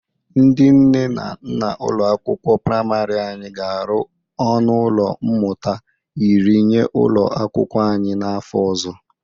Ndị nne na nna ụlọ akwụkwọ prịmarị anyị ga-arụ ọnụ ụlọ mmụta iri nye ụlọ akwụkwọ anyị n'afọ ọzọ.